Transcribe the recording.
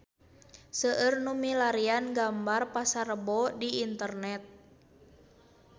Seueur nu milarian gambar Pasar Rebo di internet